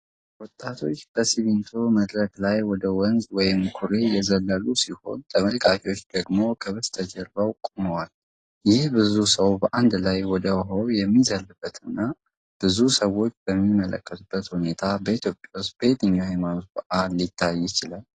ወጣቶቹ ከሲሚንቶ መድረክ ላይ ወደ ወንዝ ወይም ኩሬ እየዘለሉ ሲሆን፣ ተመልካቾቹ ደግሞ ከበስተጀርባ ቆመዋል። ይህ ብዙ ሰው በአንድ ላይ ወደ ውሃው የሚዘልበትና ብዙ ሰዎች የሚመለከቱበት ሁኔታ በኢትዮጵያ ውስጥ በየትኛው የሃይማኖት በዓል ላይ ሊታይ ይችላል?